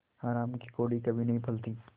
हराम की कौड़ी कभी नहीं फलती